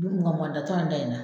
Wali mugan mugan ta tɛ anw ta in na.